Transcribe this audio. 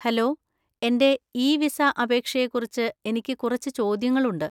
Hello, എന്‍റെ e visa അപേക്ഷയെക്കുറിച്ച് എനിക്ക് കുറച്ച് ചോദ്യങ്ങളുണ്ട്.